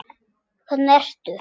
Hvernig ertu?